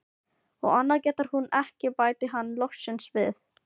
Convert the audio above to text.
Og annað getur hún ekki, bætti hann loksins við.